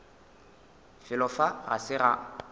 felo fa ga se ga